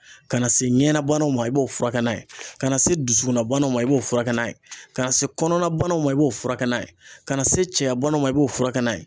Ka na se ɲɛ na banaw ma ,i b'o furakɛ n'a ye, ka na se dusukun na banaw ma i b'o furakɛ n'a ye, ka na se kɔnɔna banaw ma i b'o furakɛ n'a ye ,ka na se cɛyabana ma i b'o furakɛ n'a ye.